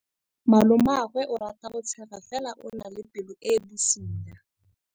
Malomagwe o rata go tshega fela o na le pelo e e bosula.